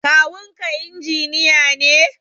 Kawunka injiniya ne?